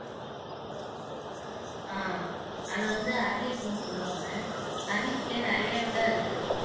ஆஹ் அது வந்து அரளிப்பூன்னு சொல்லுவாங்க அரளிப்பூலயே நிறைய இதா இருக்கு